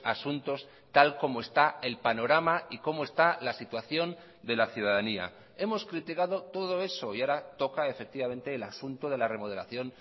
asuntos tal como está el panorama y como está la situación de la ciudadanía hemos criticado todo eso y ahora toca efectivamente el asunto de la remodelación